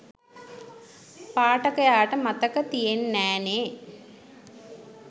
පාඨකයාට මතක තියෙන් නෑනේ?